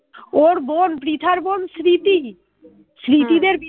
ওর বোন পৃথার বোন স্মৃতি, স্মৃতিদের